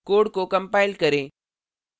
code को compile करें